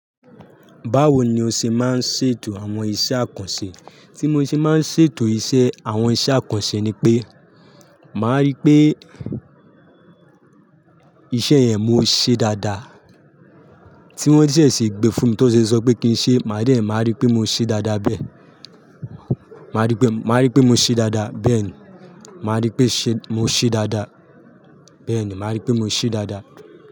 Báwo ni o ṣe máa ń ṣètò àwọn iṣẹ́ àkànṣe? Tí mo ṣe máa ń ṣètò iṣẹ́ àwọn iṣẹ́ àkànṣe ni pé, màá rí pé iṣẹ́ yẹn mo ṣe dáadáa. Tí wọ́n ṣẹ sì gbe fún mi tí o ṣe sọ pé kí n ṣe, màá rí pé mo ṣe dáadáa bẹ́ẹ̀. Màá rí pé, màá rí pé mo ṣe dáadáa. Bẹ́ẹ̀ ni, màá rí pé ṣe mo ṣe dáadáa. Bẹ́ẹ̀ ni, màá rí pé mo ṣe dáadáa.